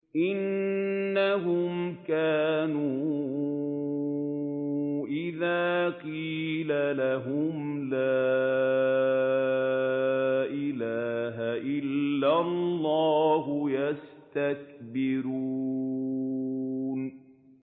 إِنَّهُمْ كَانُوا إِذَا قِيلَ لَهُمْ لَا إِلَٰهَ إِلَّا اللَّهُ يَسْتَكْبِرُونَ